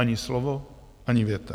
Ani slovo, ani věta.